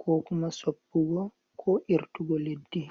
ko kuma soppugo ko irtugo leddi.